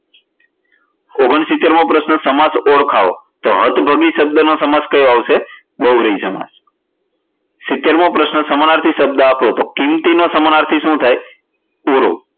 ઓગણશિતેર મો પ્રશ્ન સમાસ ઓળખાવો તો અર્થભગી શબ્દ નો સમાસ કયો આવશે બહુવ્રીહી સમાસ સીતેર મો પ્રશ્ન સમાનાર્થી શબ્દ આપો તો કિંમતી નો સમાનાર્થી શું થાય? તો તુરુ